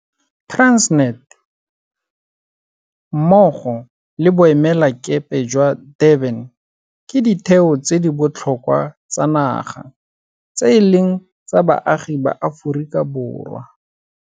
Transnet, mmogo le Boemelakepe jwa Durban ke ditheo tse di botlhokwa tsa naga tse e leng tsa baagi ba Aforika Borwa.